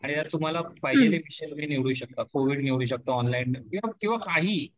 आणि त्यात तुम्हाला पाहिजे ते विषय तुम्ही निवडु शकता, कोविड निवडु शकता ऑनलाईन किंवा काहीही